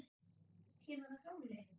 kemurðu á hjóli?